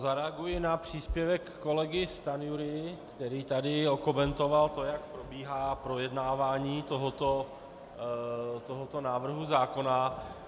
Zareaguji na příspěvek kolegy Stanjury, který tady okomentoval to, jak probíhá projednávání tohoto návrhu zákona.